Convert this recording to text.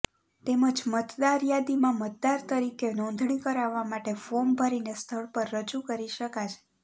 તેમજ મતદારયાદીમાં મતદાર તરીકે નોંધણી કરાવવા માટે ફોર્મ ભરીને સ્થળ પર રજૂ કરી શકાશે